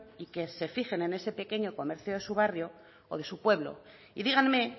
y que se fijen en ese pequeño comercio de su barrio o de su pueblo y díganme